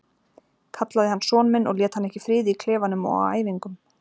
Kallaði hann son minn og lét hann ekki í friði í klefanum og á æfingum.